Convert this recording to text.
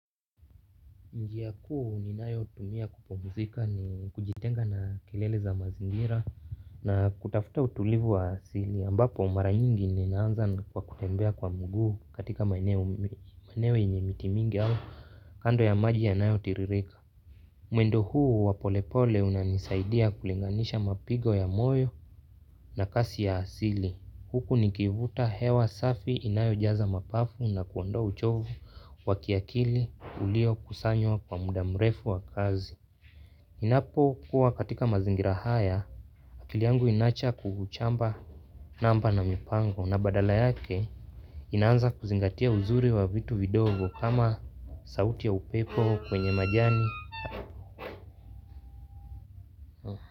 Njia kuu ninayotumia kupumzika ni kujitenga na kelele za mazingira na kutafuta utulivu wa asili ambapo mara nyingi ninaanza kwa kutembea kwa mguu katika maeneo mi maeneo yenye miti mingi au kando ya maji yanayotiririka. Mwendo huu wa polepole unanisaidia kulinganisha mapigo ya moyo na kasi ya asili. Huku nikivuta hewa safi inayojaza mapafu na kuondoa uchovu wa kiakili ulio kusanywa kwa muda mrefu wa kazi. Napo kuwa katika mazingira haya, akili yangu inaacha kuhuchamba namba na mipango na badala yake inanza kuzingatia uzuri wa vitu vidogo kama sauti ya upepo kwenye majani.